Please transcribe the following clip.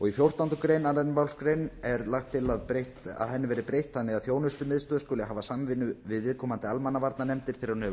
í fjórtándu grein annarri málsgrein er lagt til að henni verði breytt þannig að þjónustumiðstöð skuli hafa samvinnu við viðkomandi almannavarnanefndir þegar hún hefur